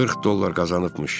40 dollar qazanıbmış.